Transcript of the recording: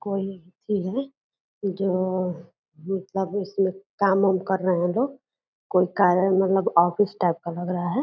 कोई चीज है जोह मतलब उसमे काम-उम कर रहे हैं लोग कोई कारण मतलब आँफिस टाइप का लग रहा है।